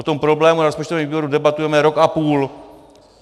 O tom problému na rozpočtovém výboru debatujeme rok a půl.